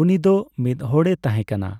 ᱩᱱᱤ ᱫᱚ ᱢᱤᱫ ᱦᱚᱲᱮ ᱛᱟᱸᱦᱮᱠᱟᱱᱟ ᱾